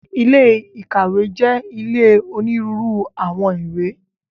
Ilé ìkàwé jẹ́ ilé onírúurú àwọn ìwé.